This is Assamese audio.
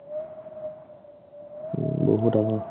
উম্, বহুত আগৰ